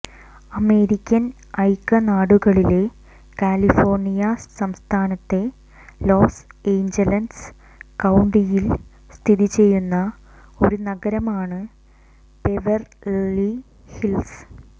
American ഐക്യനാടുകളിലെ California സംസ്ഥാനത്തെ Los Angeles കൌണ്ടിയിൽ സ്ഥിതിചെയ്യുന്ന ഒരു നഗരമാണ് ബെവെർലി ഹിൽസ്